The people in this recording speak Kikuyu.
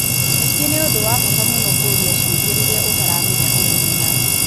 Ningĩ nĩ ũndũ wa bata mũno kũũria ciũria rĩrĩa ũtaramenya ũndũ mũna.